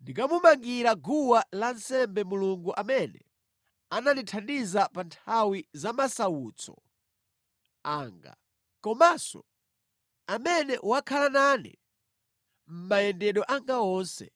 ndikamumangira guwa lansembe Mulungu amene anandithandiza pa nthawi za masautso anga, komanso amene wakhala nane mʼmayendedwe anga onse.”